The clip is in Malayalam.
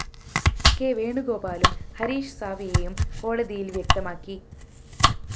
കെ വേണുഗോപാലും ഹരീഷ് സാല്‍വേയും കോടതിയില്‍ വ്യക്തമാക്കി